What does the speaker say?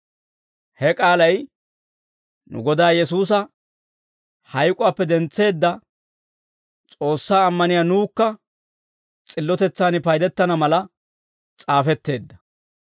He k'aalay nu Godaa Yesuusa hayk'uwaappe dentseedda S'oossaa ammaniyaa nuwukka s'illotetsaan paydettana mala s'aafetteedda.